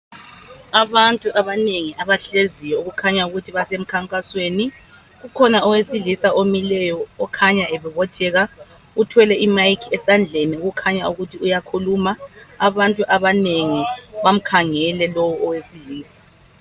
Abantu abanengi abahleziyo okukhanya ukuthi basemkhankakasweni , kukhona owesilisa omileyo okhanya ebobotheka uthwele I mic esandleni okukhanya ukuthi uyakhulama , abantu abanengi bamkhangele lowu owesilisa